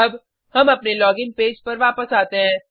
अब हम अपने लोगिन पेज पर वापस आते हैं